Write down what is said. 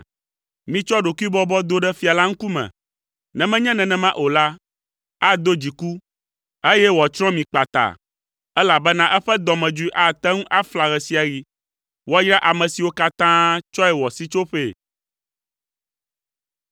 Mitsɔ ɖokuibɔbɔ do ɖe fia la ŋkume, ne menye nenema o la, ado dziku, eye wòatsrɔ̃ mi kpata, elabena eƒe dɔmedzoe ate ŋu afla ɣe sia ɣi. Woayra ame siwo katã tsɔe wɔ sitsoƒee.